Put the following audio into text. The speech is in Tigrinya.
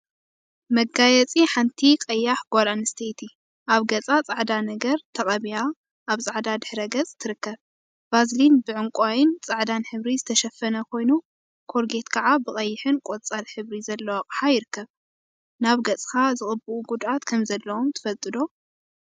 መጋየፂ ሓንቲ ቀያሕ ጓል አንስተይቲ አብ ገፃ ፃዕዳ ነገር ተቀቢአ አብ ፃዕዳ ድሕረ ገፅ ትርከብ፡፡ ቫዝሊን ብዕንቋይን ፃዕዳን ሕብሪ ዝተሸፈነ ኮይኑ፤ ኮልጌት ከዓ ብቀይሕን ቆፃል ሕብሪ ዘለዎ አቅሓ ይርከቡ፡፡ ናብ ገፅካ ዝቅብኡ ጉድአት ከምዘለዎም ትፈልጡ ዶ?